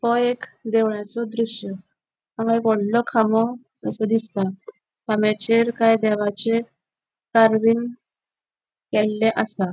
हो एक देवळाचो दृश्य हांगा एक वोड़लों खामो असो दिसता खाम्याचेर काय देवाचे कार्विंग केल्ले आसा.